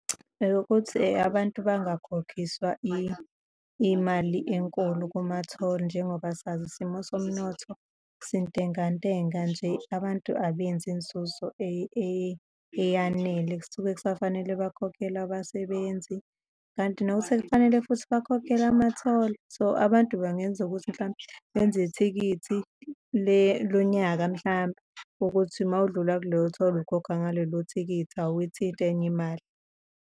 Eyokuthi abantu bangakhokhiswa imali enkulu kuma-toll, njengoba sazi isimo somnotho sintengantenga nje, abantu abenzi inzuzo eyanele, kusuke kusafanele bakhokhele abasebenzi kanti now sekufanele futhi bakhokhele ama-toll. So, abantu bangenza ukuthi mhlampe benze ithikithi lonyaka mhlampe ukuthi uma udlula kuleyo-toll ukhokha ngalelo thikithi, awuyithinti enye imali.